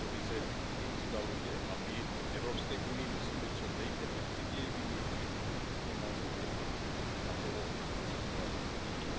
Tato vize se jim vzdaluje a my v EU musíme co nejefektivněji využít všechny dostupné nástroje, abychom napomohli tuto situaci změnit.